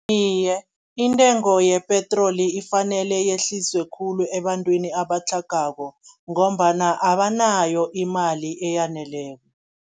Iye, intengo yepetroli ifanele yehliswe khulu ebantwini abatlhagako ngombana abanayo imali eyaneleko.